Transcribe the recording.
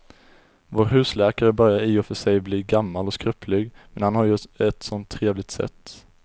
Vår husläkare börjar i och för sig bli gammal och skröplig, men han har ju ett sådant trevligt sätt!